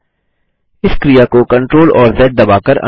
इस क्रिया को CTRL और ज़ दबाकर अंडू करें